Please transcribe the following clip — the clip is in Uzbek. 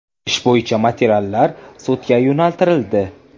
Ish bo‘yicha materiallar sudga yo‘naltirildi.